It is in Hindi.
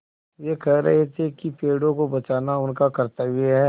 वे कह रहे थे कि पेड़ों को बचाना उनका कर्त्तव्य है